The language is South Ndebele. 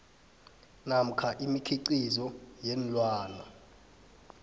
namkha imikhiqizo yeenlwana